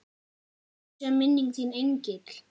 Blessuð sé minning þín engill.